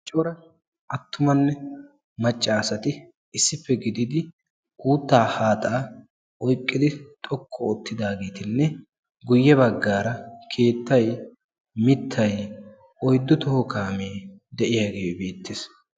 Cora attumanne macca asati issippe gidid uuttaa haaxaa oyiqqidi xoqqu oottidaageetinne guyye baggaara keettay, mittay, uyiddu toho kaamee, de'iyagee beettes.